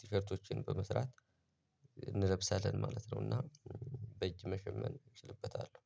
ቲሸርቶችን በመስራት እንለብሳለን ማለት ነው። እና በእጅ መሸመን እችልበታለሁ